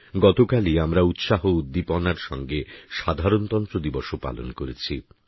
গতকালই আমরা উৎসাহ উদ্দীপনার সঙ্গে সাধারণতন্ত্র দিবসও পালন করেছি